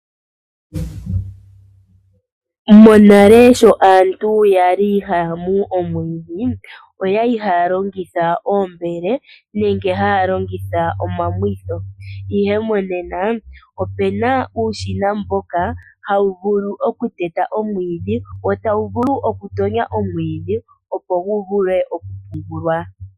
Monale sho aantu yali haya mu omwiidhi, oyali haya longitha oombele, nenge haya longitha omamwitho. Ihe monena opuna uushina mboka hawu vulu okuteta omwiidhi, wo tawu vulu okutonya omwiidhi, opo guvule okupungulwa.